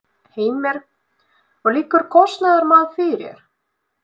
Heimir: Liggur kostnaðarmat fyrir?